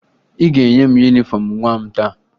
Ị ga-enye m yunifọmụ nwa m taa